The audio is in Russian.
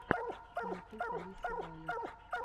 ютуб алисса вайолет